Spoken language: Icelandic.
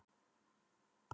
Kjartansgötu